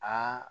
Aa